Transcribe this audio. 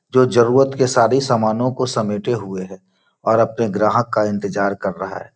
जो जरुरत के सारे समानों को समेटे हुए हैं और अपने ग्राहक का इंतजार कर रहा है।